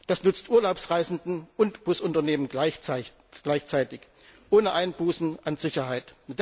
Das nützt Urlaubsreisenden und Busunternehmen gleichzeitig, ohne Einbußen an Sicherheit.